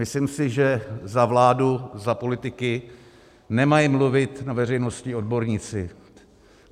Myslím si, že za vládu, za politiky nemají mluvit na veřejnosti odborníci.